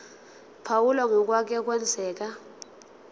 phawula ngokwake kwenzeka